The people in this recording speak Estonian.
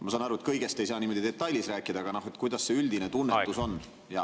Ma saan aru, et kõigest ei saa niimoodi detailides rääkida, aga kuidas see üldine tunnetus on?